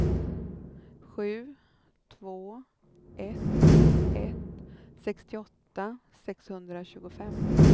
sju två ett ett sextioåtta sexhundratjugofem